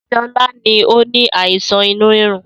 Sọlá ni ó ní àìsàn inú rírun